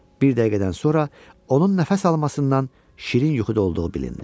Bir dəqiqədən sonra onun nəfəs almasından şirin yuxuda olduğu bilindi.